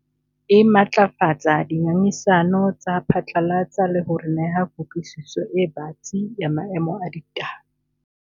E matlafatsa dingangisano tsa phatlalatsa le ho re neha kutlwisiso e batsi ya maemo a ditaba.